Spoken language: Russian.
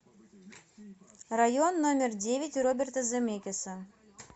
район номер девять роберта земекиса